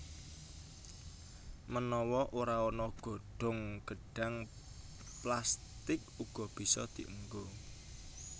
Menawa ora ana godhong gedhang plastik uga bisa dienggo